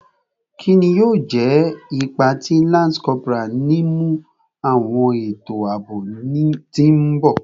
Kini yoo jẹ ipa ti lance corporal ninu awọn eto aabo ti n bọ?